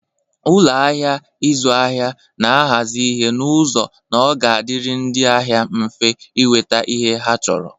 Ụlọ ahịa ịzụ ahịa na-ahazi ihe n'ụzọ na ọ ga-adịrị ndị ahịa mfe inweta ihe ha chọrọ.